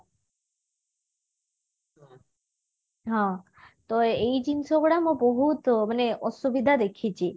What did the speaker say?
ହଁ ତ ଏଇ ଜିନିଷ ଗୁଡା ମୁଁ ବହୁତ ମାନେ ଅସୁବିଧା ଦେଖିଛି